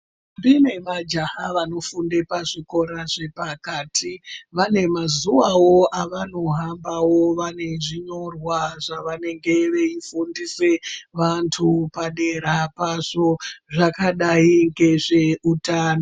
Ntombi nemajaha vanofunda kuzvikora zvepakati vane mazuvawo avanohambawo vane zvinyorwa zvavanenge veifundisa vantu padera pazvo zvakadai ngezveutano.